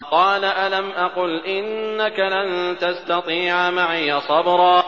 قَالَ أَلَمْ أَقُلْ إِنَّكَ لَن تَسْتَطِيعَ مَعِيَ صَبْرًا